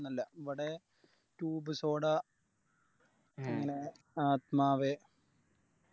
എവടെ Tube soda മ്മളെ ആത്മാവേ